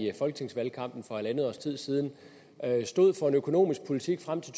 i folketingsvalgkampen for halvandet års tid siden stod for en økonomisk politik frem til